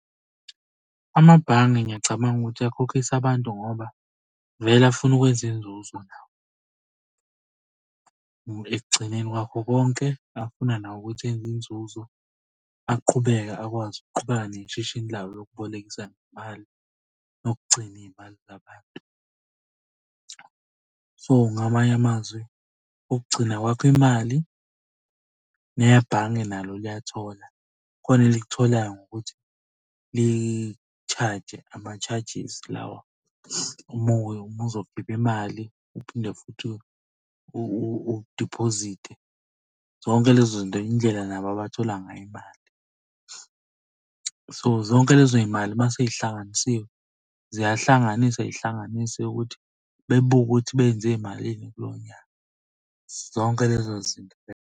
Amabhange ngiyacabanga ukuthi akhokhisa abantu ngoba vele afuna ukwenza inzuzo nawo. Ekugcineni kwakho konke afuna nawo ukuthi enze inzuzo aqhubeke akwazi ukuqhubeka neshishini lawo lokubolekisa ngemali nokugcina iy'mali zabantu. So, ngamanye amazwi, ukugcina kwakho imali nebhange nalo liyathola. Khona elikutholayo ngokuthi li-charge-je ama-charges lawa, uma ubuzokhipha imali uphinde futhi udiphozite. Zonke lezo zinto indlela nabo abathola ngayo imali. So, zonke lezo y'mali uma sey'hlanganisiwe, ziyahlanganiswa, y'hlanganiswe ukuthi bebuke ukuthi benze malini kulowo nyaka. Zonke lezo zinto lezo.